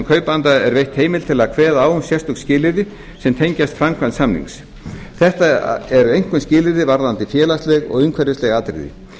kaupanda er veitt heimild til að kveða á um sérstök skilyrði sem tengjast framkvæmd samnings þetta eru einkum skilyrði varðandi félagsleg og umhverfisleg atriði